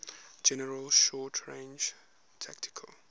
general short range tactical